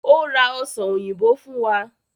Ó ra ọsàn òyìnbó fún wa